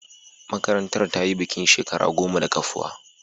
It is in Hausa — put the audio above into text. Marantar ta yi bikin shekara goma da kafuwa.